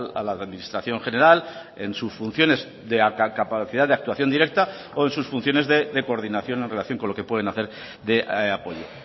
a la administración general en sus funciones de capacidad de actuación directa o en sus funciones de coordinación en relación con lo que pueden hacer de apoyo